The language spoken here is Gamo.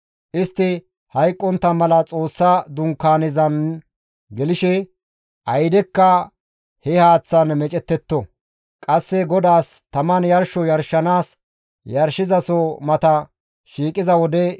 Istti hayqqontta mala Xoossa Dunkaanezan gelshe aydekka he haaththan meecettetto. Qasse GODAAS taman yarsho yarshanaas yarshizaso mata shiiqiza wode,